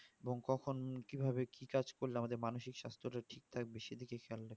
এবং কখন কি ভাবে কি কাজ করলে আমাদের মানসিক সাস্থ টা ঠিক থাকবে সেদিকে খেয়াল রা